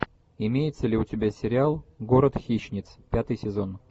имеется ли у тебя сериал город хищниц пятый сезон